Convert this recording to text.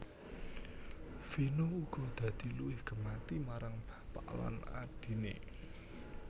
Vino uga dadi luwih gemati marang bapak lan adhiné